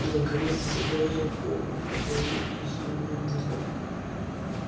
наконец он заговорил колеблись и неуверенно